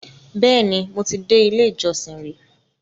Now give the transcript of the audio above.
Bẹ́ẹ̀ni, mo ti dé ilé-ìjọsìn rí